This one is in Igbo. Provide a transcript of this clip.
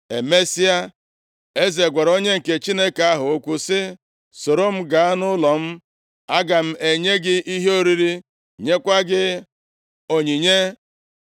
Emesịa, eze gwara onye nke Chineke ahụ okwu sị, “Soro m gaa nʼụlọ m. Aga m enye gị ihe oriri, nyekwa gị onyinye.”